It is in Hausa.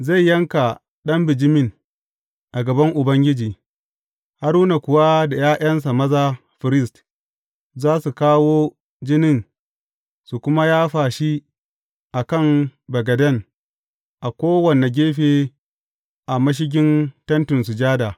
Zai yanka ɗan bijimin a gaban Ubangiji, Haruna kuwa da ’ya’yansa maza firist, za su kawo jinin su kuma yafa shi a kan bagaden a kowane gefe a mashigin Tentin Sujada.